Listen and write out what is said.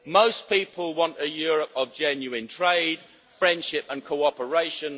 Most people want a Europe of genuine trade, friendship and cooperation.